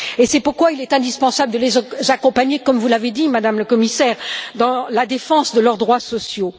C'est pourquoi il est indispensable de les accompagner, comme vous l'avez dit, Madame le Commissaire, dans la défense de leurs droits sociaux.